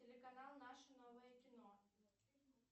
телеканал наше новое кино